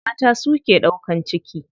Mata su ke ɗaukan ciki.